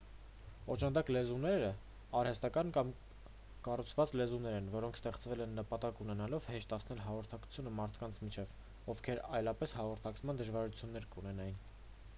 օժանդակ լեզուներն արհեստական կամ կառուցված լեզուներ են որոնք ստեղծվել են նպատակ ունենալով հեշտացնել հաղորդակցությունը մարդկանց միջև ովքեր այլապես հաղորդակցման դժվարություններ կունենային